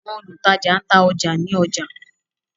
Àwọn olutaja n ta ọja ni ọja.